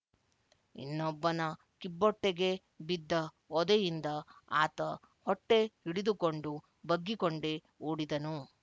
ಇನ್ನೊಬ್ಬನ ಕಿಬ್ಬೊಟ್ಟೆಗೆ ಬಿದ್ದ ಒದೆಯಿಂದ ಆತ ಹೊಟ್ಟೆ ಹಿಡಿದುಕೊಂಡು ಬಗ್ಗಿಕೊಂಡೇ ಓಡಿದನು